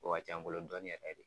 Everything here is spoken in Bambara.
O ka c'anbolo dɔɔnin yɛrɛ de.